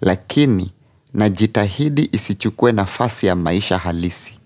lakini najitahidi isichukue nafasi ya maisha halisi.